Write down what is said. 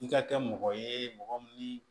I ka kɛ mɔgɔ ye mɔgɔ min